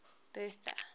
bertha